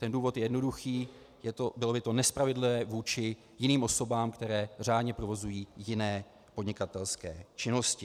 Ten důvod je jednoduchý - bylo by to nespravedlivé vůči jiným osobám, které řádně provozují jiné podnikatelské činnosti.